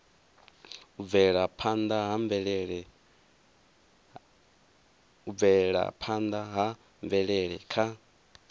u bvelaphanda ha mvelele kha